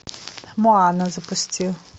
моана запусти